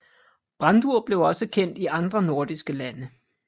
Brandur blev også kendt i andre nordiske lande